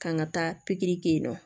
Kan ka taa pikiri kɛ yen nɔ